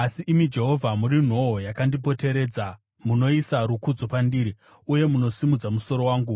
Asi imi Jehovha, muri nhoo yakandipoteredza; munoisa rukudzo pandiri uye munosimudza musoro wangu.